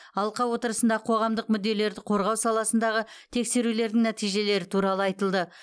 алқа отырысында қоғамдық мүдделерді қорғау саласындағы тексерулердің нәтижелері туралы айтылды